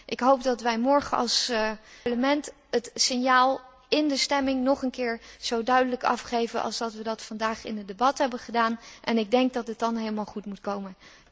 Ik hoop dat wij morgen als Parlement het signaal in de stemming nog een keer zo duidelijk afgeven als we dat vandaag in het debat hebben gedaan en ik denk dat het dan gewoon helemaal goed moet komen.